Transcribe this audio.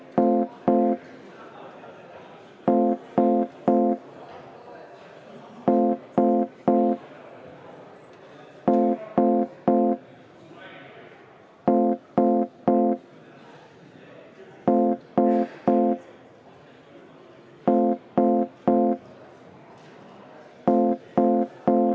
Ma usun, et tegime täna ajalugu ja aitasime ehk väikese sammukesega kaasa Valgevene rahva liikumisele demokraatia ja vabaduse poole.